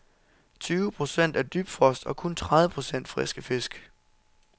Tyve procent er dybfrost og kun tredive procent friske fisk.